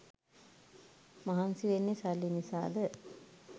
මහන්සි වෙන්නේ සල්ලි නිසාද?